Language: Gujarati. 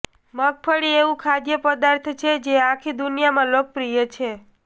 મગફળી એવુ ખાદ્ય પદાર્થ છે જે આખી દુનિયામા લોકપ્રિય છે